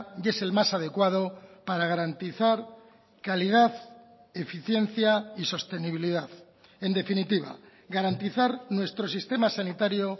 y es el más adecuado para garantizar calidad eficiencia y sostenibilidad en definitiva garantizar nuestro sistema sanitario